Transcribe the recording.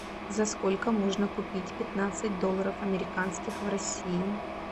за сколько можно купить пятнадцать долларов американских в россии